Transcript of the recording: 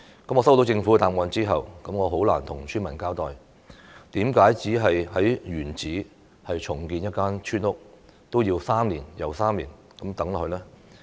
我接獲政府的答覆後，很難向村民交代，為何只是在原址重建一間村屋，也要 "3 年又3年"等下去呢？